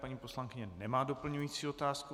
Paní poslankyně nemá doplňující otázku.